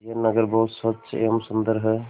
यह नगर बहुत स्वच्छ एवं सुंदर है